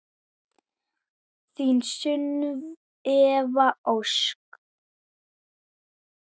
Þín Sunneva Ósk.